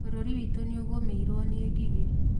Bũrũri witũ nĩũgũmĩirwo nĩ ngigĩ